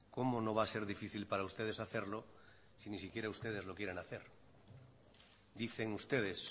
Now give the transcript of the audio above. cómo no va a ser difícil para ustedes hacerlo si ni siquiera ustedes lo quieren hacer dicen ustedes